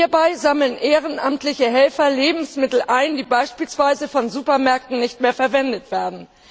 Hierbei sammeln ehrenamtliche Helfer Lebensmittel ein, die beispielsweise von Supermärkten nicht mehr verwendet werden.